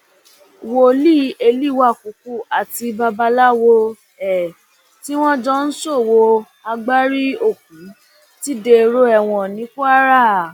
wòlíì élìwàkúkú àti babaláwo ẹ tí wọn jọ ń ṣòwò agbárí òkú ti dèrò ẹwọn ní kwara